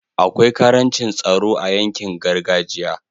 akwai karancin tsaro a yankin gargajiya